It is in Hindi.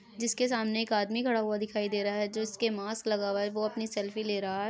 जिसके सामने एक आदमी खड़ा हुआ दिखाई दे रहा है जिसने मास्क लगा हुआ है वो अपनी सेल्फी ले रहा है।